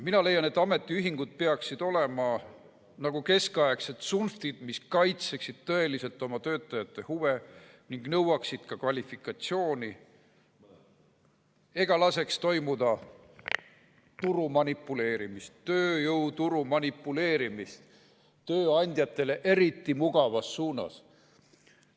Mina leian, et ametiühingud peaksid olema nagu keskaegsed tsunftid, mis kaitseksid tõeliselt oma töötajate huve, nõuaksid kvalifikatsiooni ega laseks toimuda tööjõuturuga manipuleerimist tööandjatele eriti mugavas suunas.